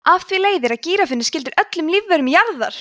af því leiðir að gíraffinn er skyldur öllum lífverum jarðar!